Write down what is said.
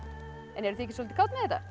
en eruð þið ekki soldið kát með þetta